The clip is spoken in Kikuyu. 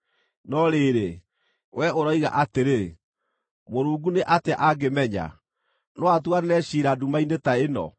No rĩrĩ, wee ũroiga atĩrĩ, ‘Mũrungu nĩ atĩa angĩmenya? No atuanĩre ciira nduma-inĩ ta ĩno?